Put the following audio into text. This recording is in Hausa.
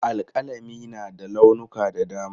Alƙalami na da launuka da dama.